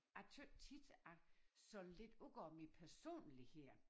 Jeg tøt tit at sådan lidt udgår mit personlighed